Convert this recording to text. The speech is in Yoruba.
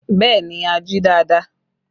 Bẹẹ ni, a jí dáadáa